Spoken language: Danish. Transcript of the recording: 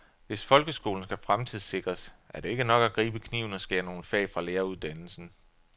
Hvis folkeskolen skal fremtidssikres, er det ikke nok at gribe kniven og skære nogle fag fra læreruddannelsen.